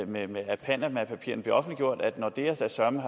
med med at panamapapirerne blev offentliggjort om at nordea da søreme